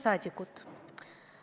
Saadikud!